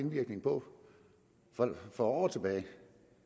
indvirkning på for år tilbage